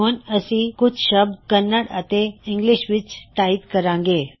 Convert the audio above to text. ਹੁਣ ਅਸੀਂ ਕੁਛ ਸ਼ਬਦ ਕੰਨੜ ਅਤੇ ਇੰਗਲਿਸ਼ ਵਿੱਚ ਟਾਇਪ ਕਰਾਂਗੇ